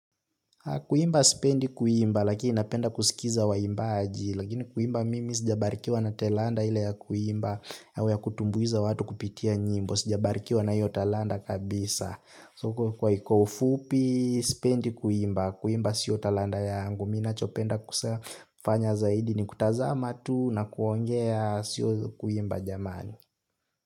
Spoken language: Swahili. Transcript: Kuimba spendi kuimba, lakini napenda kusikiza wa imbaji, lakini kuimba mimi sijabarikiwa na telanda ile ya kuimba, au ya kutumbuiza watu kupitia nyimbo, sijabarikiwa na yota talanda kabisa. So kwa ufupi, spendi kuimba, kuimba siyo telanda yangu, mina chopenda kufanya zaidi ni kutazama tu na kuongea siyo kuimba jamani.